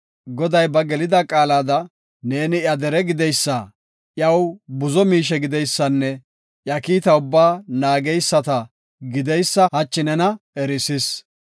Goday ba gelida qaalada ne iya dere gideysa, iyaw buzo miishe gideysanne iya kiita ubbaa naageysata gideysa hachi nena erisis.